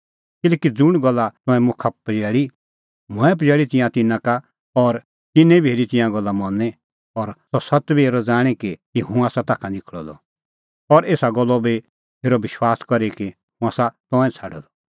किल्हैकि ज़ुंण गल्ला तंऐं मुखा पजैल़ी मंऐं पजैल़ी तिंयां तिन्नां का और तिन्नैं बी हेरी तिंयां गल्ला मनी और अह सत्त बी हेरी ज़ाणीं कि हुंह आसा ताखा निखल़अ द और एसा गल्लो बी हेरअ विश्वास करी कि हुंह आसा तंऐं छ़ाडअ द